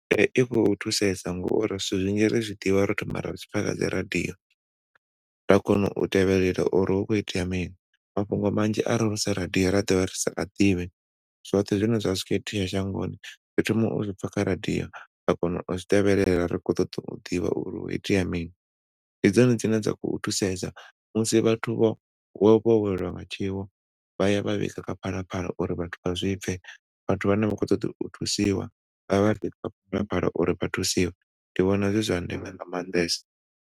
Ee, ikho thusesa nga uri zwithu zwinzhi ri zwi ḓivha ro thoma ra zwi pfa kha dzi radio ra kona u tevhelela uri hu kho itea mini, mafhungo manzhi are hu si radio ra ḓovha ri sa a ḓivhi zwoṱhe zwine zwavha zwi kho itea shangoni ri thoma uzwi pfa kha radio ra kona uzwi tevhelela ri kho ṱoḓa u ḓivha uri hu kho itea mini. Ndi dzone dzine dza kho thusesa musi vhathu vho vho vho welwa nga tshiwo vhaya vha vhiga kha phalaphala uri vhathu vha zwi pfe, vhathu vhane vha kho ṱoḓa u thusiwa avhaḓe kha phalaphala uri vha thusiwe. ndi vhona zwi zwa ndeme nga maanḓesa.